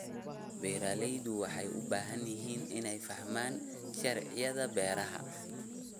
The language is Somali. Beeraleydu waxay u baahan yihiin inay fahmaan sharciyada beeraha.